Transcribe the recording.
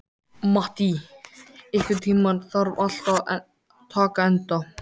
Mattý, einhvern tímann þarf allt að taka enda.